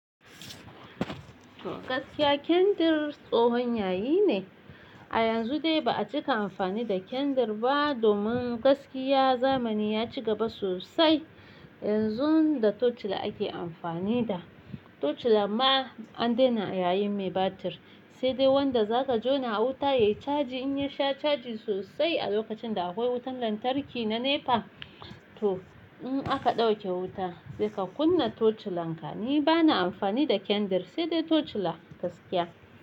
Gaskiya kyandir tsohon yayi ne. A yanzu dai ba a cika amfani da kyandir ba domin gaskiya zamani ya ci gaba sosai. Yanzu da torchlight ake amfani da. Torchlight ma an dena yayin mai batir. Sai dai wanda zaka jona a wuta ya yi caji in ya sha caji sosai a lokacin da akwai wutan lantarki na NEPA. To in aka dauke wuta zai ka kunna torchlight. Ni bana amfani da kyandir sai dai torchlight gaskiya.